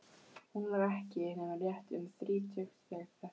Hún var ekki nema rétt um þrítugt þegar þetta var.